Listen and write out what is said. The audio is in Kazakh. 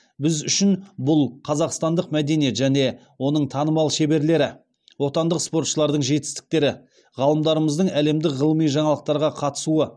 біз үшін бұл қазақстандық мәдениет және оның танымал шеберлері отандық спортшылардың жетістіктері ғалымдарымыздың әлемдік ғылыми жаңалықтарға қатысуы